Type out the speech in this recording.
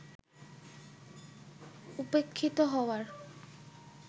উপেক্ষিত হওয়ার